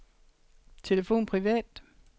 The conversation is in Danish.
telefon privat